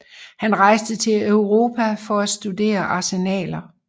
Han rejste til Europa for at studere arsenaler